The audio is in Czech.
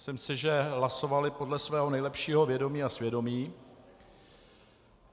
Myslím si, že hlasovali podle svého nejlepšího vědomí a svědomí.